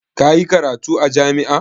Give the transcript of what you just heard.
Ka yi karatu a jami'a?